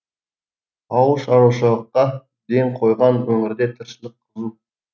ауыл шаруашылыққа ден қойған өңірде тіршілік қызу